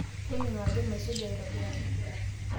toningo ajo maisuja aitobiraki